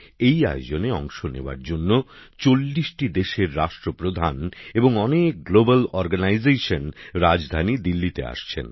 এই আয়োজনে অংশ নেওয়ার জন্য ৪০টি দেশের রাষ্ট্র প্রধান এবং অনেক আন্তর্জাতিক সংগঠনের প্রতিনিধিরা রাজধানী দিল্লিতে আসছেন